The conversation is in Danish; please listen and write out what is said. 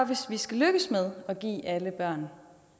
hvis vi skal lykkes med at give alle børn